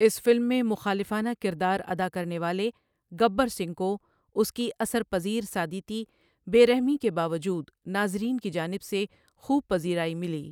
اس film میں مخالفانہ کردار ادا کرنے والے گبر سنگھ کو اس کی اثر پذیر سادیتی بے رحمی کے باوجود ناظرین کی جانب سے خوب پذیرائی ملی۔